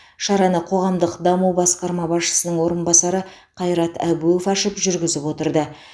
шараны қоғамдық даму басқарма басшысының орыбасары қайрат әбуов ашып жүргізіп отырды